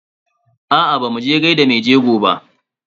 Aa bamu je gaida maijego ba.